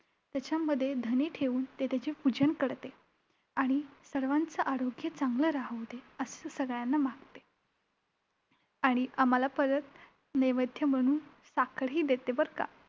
त्याच्यामध्ये धणे ठेऊन, ती त्याचे पूजन करते आणि सर्वांचं आरोग्य चांगलं राहू दे असं सगळ्यांना मागते. आणि आम्हांला परत नैवेद्य म्हणून साखरही देते बरं का?